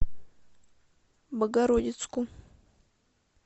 богородицку